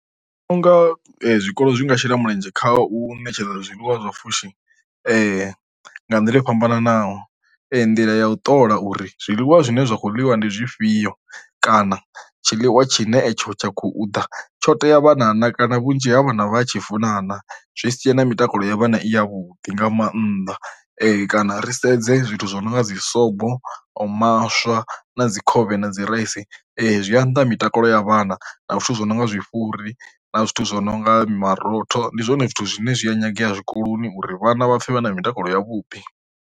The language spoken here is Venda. Nga zwikolo zwinga shela mulenzhe kha u ṋetshedza zwiḽiwa zwa pfhushi nga nḓila yo fhambananaho, nḓila ya u ṱola uri zwiḽiwa zwine zwa khou ḽiwa ndi zwifhio kana tshiḽiwa tshi ne tsha khou ḓa tsho tea vhana kana vhunzhi ha vha na vha a tshi funa na, zwi siya na mitakalo ya vhana i ya vhuḓi nga mannḓa kana ri sedze zwithu zwo no nga dzi sobo maswa na dzi khovhe na dzi raisi zwi a nnḓa mitakalo ya vhana na zwithu zwo no nga zwi fhuri na zwithu zwo no nga marotho, ndi zwone zwithu zwine zwi a nyangea zwikoloni uri vhana vha pfhe vha na mitakalo ya vhuḓi.